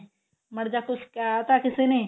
ਮਾੜਾ ਜਾ ਕੁੱਝ ਕਹਿ ਤਾਂ ਕਿਸੇ ਨੇ